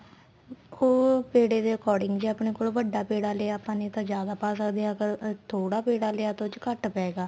ਉਹ ਪੇੜੇ ਦੇ according ਜੇ ਆਪਣੇ ਕੋਲ ਵੱਡਾ ਪੇੜਾ ਲਿਆ ਤਾਂ ਆਪਾਂ ਨੇ ਤਾਂ ਜਿਆਦਾ ਪਾ ਸਕਦੇ ਆ ਥੋੜਾ ਪੇੜਾ ਲਿਆ ਤਾਂ ਉਸ ਚ ਘੱਟ ਪਏਗਾ